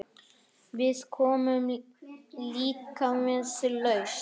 Við komum líka með lausn.